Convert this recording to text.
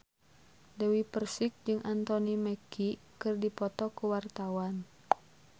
Dewi Persik jeung Anthony Mackie keur dipoto ku wartawan